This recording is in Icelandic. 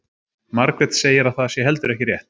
Margrét segir að það sé heldur ekki rétt.